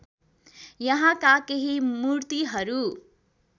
यहाँका केही मूर्तिहरू